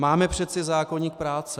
Máme přece zákoník práce.